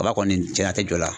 Kaba kɔni cɛnna a tɛ jɔ la.